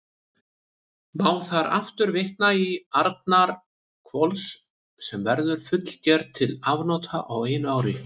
Má þar aftur vitna til Arnarhvols, sem verður fullger til afnota á einu ári.